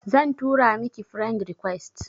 Zan tura miki friend request